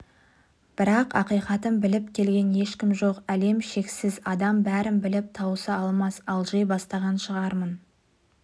бірақ ақиқатын біліп келген ешкім жоқ әлем шексіз адам бәрін біліп тауыса алмас алжи бастаған шығармын